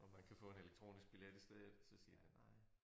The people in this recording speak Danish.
Om man kan få en elektronisk billet i stedet så siger de nej